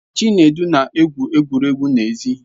Chinedu na-egwu egwuregwu n'èzí